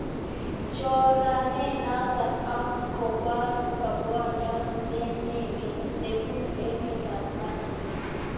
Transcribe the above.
Choranenoto k kobo rabwoniot neinegei nebubu emetab mexico